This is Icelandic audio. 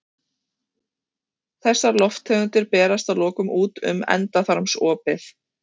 Þessar lofttegundir berast að lokum út um endaþarmsopið.